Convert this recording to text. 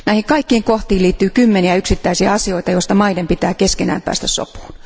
Näihin kaikkiin kohtiin liittyy kymmeniä yksittäisiä asioita, joista maiden pitää keskenään päästä sopuun.